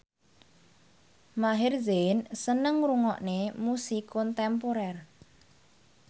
Maher Zein seneng ngrungokne musik kontemporer